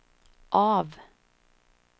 av